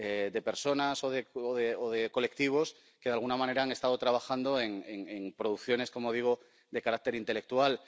de personas o de colectivos que, de alguna manera, han estado trabajando en producciones ―como digo― de carácter intelectual.